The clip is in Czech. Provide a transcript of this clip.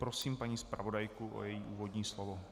Prosím paní zpravodajku o její úvodní slovo.